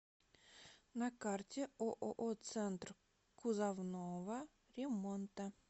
на карте ооо центр кузовного ремонта